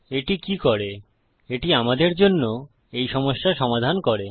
এটি কি করে এটি আমাদের জন্য এই সমস্যা সমাধান করে